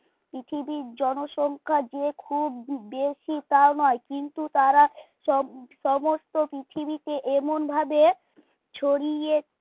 পৃথিবীর জনসংখ্যা যে খুব বেশি তা নয় কিন্তু তারা সমস্ত পৃথিবীকে এমন ভাবে ছড়িয়ে